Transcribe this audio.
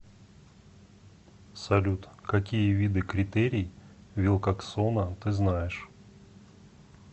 салют какие виды критерий вилкоксона ты знаешь